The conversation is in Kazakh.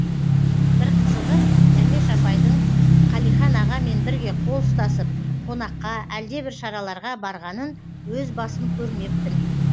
бір қызығы дәмеш апайдың қалихан ағамен бірге қол ұстасып қонаққа әлдебір шараларға барғанын өз басым көрмеппін